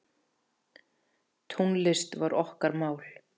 Tónlist var okkar mál.